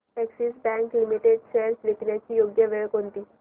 Axis bank limited shares विकण्याची योग्य वेळ कोणती